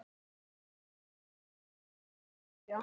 En hvenær væri þá hægt að byrja?